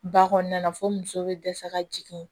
Ba kɔnɔna na fo muso bɛ dɛsɛ ka jigin